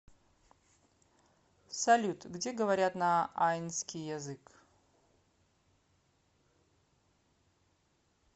салют где говорят на айнский язык